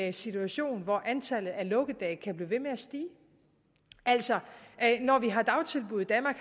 en situation hvor antallet af lukkedage kan blive ved med at stige altså når vi har dagtilbud i danmark